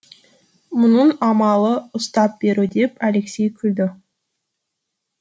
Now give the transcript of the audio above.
мұның амалы ұстап беру деп алексей күлді